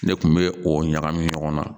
Ne kun bɛ o ɲagami ɲɔgɔn na